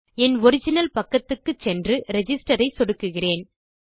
என் original பக்கத்துக்கு சென்று register ஐ சொடுக்குகிறேன்